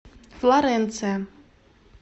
флоренция